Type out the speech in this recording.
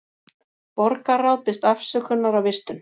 Borgarráð biðst afsökunar á vistun